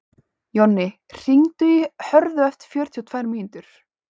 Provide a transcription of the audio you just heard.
Jonni, hringdu í Hörðu eftir fjörutíu og tvær mínútur.